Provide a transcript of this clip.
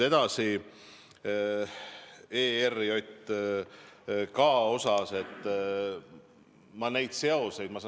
ERJK puhul ma neid seoseid ei tooks.